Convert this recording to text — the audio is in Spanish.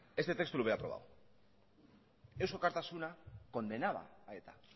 este texto lo hubiera aprobado eusko alkartasuna condenaba a eta